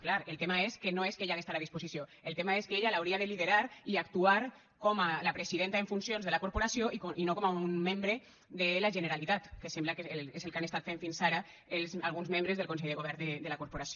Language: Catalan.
clar el tema és que no és que ella ha d’estar a disposició el tema és que ella l’hauria de liderar i actuar com la presidenta en funcions de la corporació i no com un membre de la generalitat que sembla que és el que han estat fent fins ara alguns membres del consell de govern de la corporació